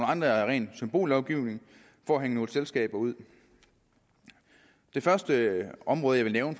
andre er ren symbollovgivning for at hænge nogle selskaber ud det første område jeg vil